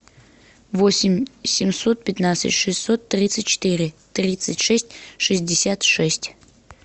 восемь семьсот пятнадцать шестьсот тридцать четыре тридцать шесть шестьдесят шесть